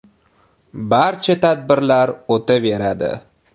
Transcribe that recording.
“Barcha tadbirlar o‘taveradi.